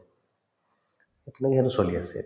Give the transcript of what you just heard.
চলি আছে এতিয়া